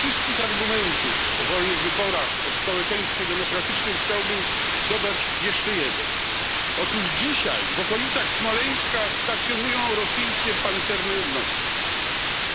Do tych wszystkich argumentów o wolnych wyborach, o społeczeństwie demokratycznym chciałbym dodać jeszcze jeden otóż dzisiaj w okolicach Smoleńska stacjonują rosyjskie jednostki pancerne.